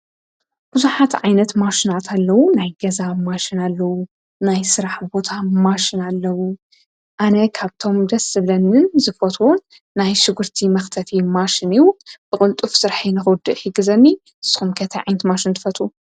ብዙኃት ዓይነት ማሽናት ኣለዉ ናይ ገዛ ማሽን ኣለዉ ናይ ሥራሕ ቦታ ማሽን ኣለዉ ኣነ ኻብቶም ደስ ብለንን ዝፈትውን ናይ ሽጕርቲ መኽተፊ ማሽን ኢዩ ብቕልጡፍ ዝራሒንዂድ ሂግዘኒ ስምከተ ዓይንቲ ማሽን ትፈቱ።